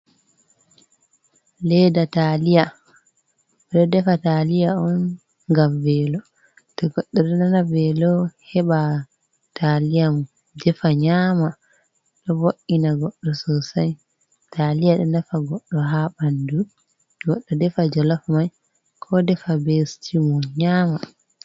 Leeda taaliya. Ɓe ɗo defa taaliya on ngam veelo. To goɗɗo ɗo nana velo heɓa taaliya mum, defa nyama. Ɗo vo'ina goɗɗo sosai. Taaliya ɗo nafa goɗɗo ha ɓandu. Goɗɗo defai jolof mai, ko defa be stiw mum nyaama.